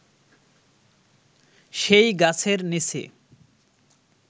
সেই গাছের নিচে